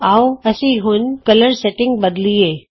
ਆਉ ਅਸੀਂ ਹੁਣ ਰੰਗ ਸੈਟਿੰਗ ਬਦਲੀਏ